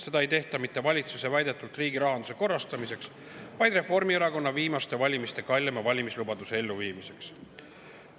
Seda ei tehta mitte riigirahanduse korrastamiseks, nagu valitsus on väitnud, vaid Reformierakonna viimaste valimiste kalleima valimislubaduse elluviimiseks.